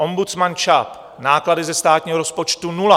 Ombudsman ČAP, náklady ze státního rozpočtu nula.